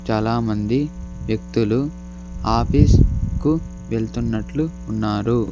చాలా మంది వ్యక్తులు ఆపీస్ కు కి వెళ్తునట్లు ఉన్నారు.